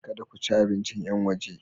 Kada ku ci abincin yan waje!